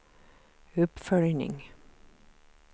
uppföljning